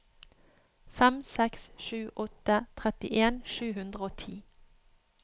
fem seks sju åtte trettien sju hundre og ti